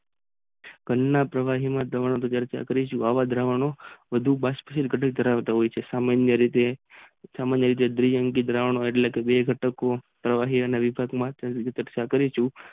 ઘન ના પ્રવાહી માં પ્રબંધ કરતા આવ જ દ્રાવણો વધુ બસપોસર્જન કરાવતા હોય છે સામાન્ય રીતે દ્રિ અંકિત દ્રાવણો એટલે પ્રવાહીમાં વિભાજીત કરી સકતા હોય છે.